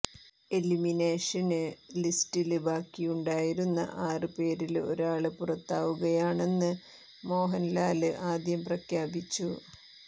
എലിമിനേഷന് ലിസ്റ്റില് ബാക്കിയുണ്ടായിരുന്ന ആറ് പേരില് ഒരാള് പുറത്താവുകയാണെന്ന് മോഹന്ലാല് ആദ്യം പ്രഖ്യാപിച്ചു